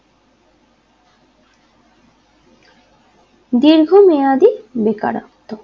দীর্ঘমেয়াদী বেকারত্ব